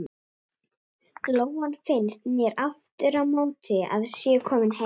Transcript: Lóan finnst mér aftur á móti að sé komin heim.